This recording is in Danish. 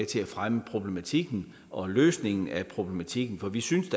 til at fremme problematikken og løsningen af problematikken for vi synes